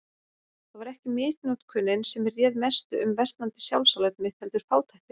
Það var ekki misnotkunin sem réð mestu um versnandi sjálfsálit mitt, heldur fátæktin.